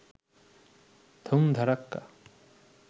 ধুম ধাড়াক্কা